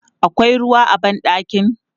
Akwai ruwa a ban ɗakin?